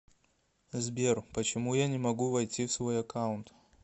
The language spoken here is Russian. сбер почему я не могу войти в свой аккаунт